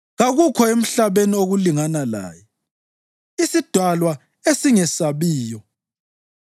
Kakukho emhlabeni okulingana laye, isidalwa esingesabiyo.